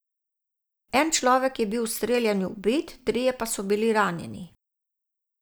En človek je bil v streljanju ubit, trije pa so bili ranjeni.